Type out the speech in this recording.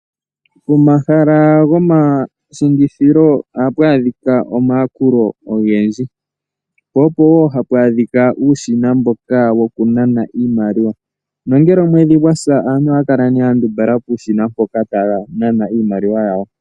Pomahala gomangeshefelo ohapu adhika omayakulo ogendji, po opo woo hapu adhika uushina mboka woku nana iimaliwa. Nongele omwedhi gwasa aantu ohaya kala ya ndumbala puushina mpoka taya nana iimaliwa yawo.